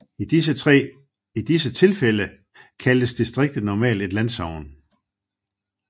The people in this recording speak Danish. I disse tilfælde kaldtes distriktet normalt et landsogn